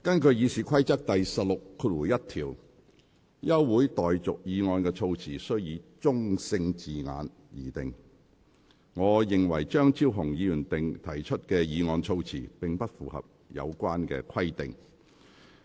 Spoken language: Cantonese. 根據《議事規則》第161條，休會待續議案的措辭須以中性字眼擬定。我認為張超雄議員提出的議案措辭，並不符合有關規定。